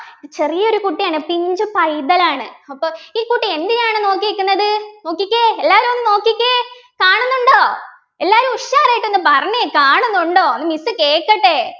ചെറിയൊരു കുട്ടിയാണ് പിഞ്ചു പൈതലാണ് അപ്പൊ ഈ കുട്ടി എന്തിനെയാണ് നോക്കിനിക്കുന്നത് നോക്കിക്കേ എല്ലാരും ഒന്ന് നോക്കിക്കേ കാണുന്നുണ്ടോ എല്ലാവരും ഉഷാറായിട്ട് ഒന്ന് പറഞ്ഞേ കാണുന്നുണ്ടോ miss കേക്കട്ടെ